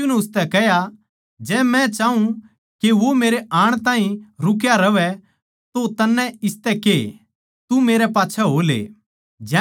यीशु नै उसतै कह्या जै मै चाऊँ के वो मेरै आण ताहीं रुक्या रहवै तो तन्नै इसतै के तू मेरै पाच्छै हो ले